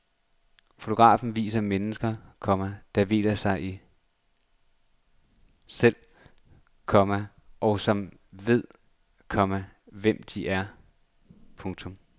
Fotografen viser mennesker, komma der hviler i sig selv, komma og som ved, komma hvem de er. punktum